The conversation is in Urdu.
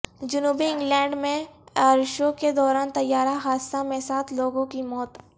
جنوبی انگلینڈ میں ائرشو کے دوران طیارہ حادثہ میں سات لوگوں کی موت